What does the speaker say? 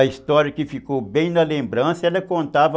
A história que ficou bem na lembrança, ela contava...